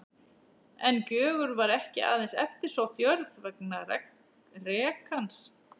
En Gjögur var ekki aðeins eftirsótt jörð vegna rekans.